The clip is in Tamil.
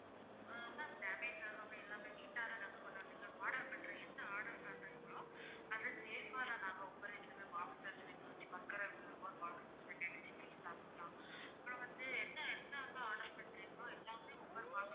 ஆஹ் அதான் damage ஆகாம எல்லாமே neat ஆ தான் நாங்க கொண்டு வந்திருவோம் order மட்டும் என்ன order காட்டுறீங்களோ அது safe ஆ அதை நாங்க அப்பறம் வந்து என்ன என்னென்ன order பண்றீங்களோ எல்லாமே ஒவ்வொரு box